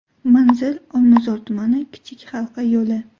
Manzil: Olmazor tumani, Kichik halqa yo‘li.